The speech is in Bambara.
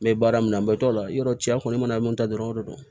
N bɛ baara min na n bɛ t'o la yɔrɔci kɔni mana min ta dɔrɔn o de don